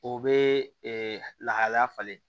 O bɛ lahalaya falen